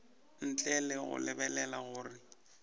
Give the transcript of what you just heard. ntle le go lebelela gore